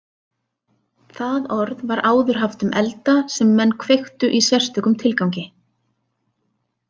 Það orð var áður haft um elda sem menn kveiktu í sérstökum tilgangi.